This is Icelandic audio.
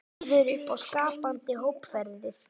Býður upp á skapandi hópferðir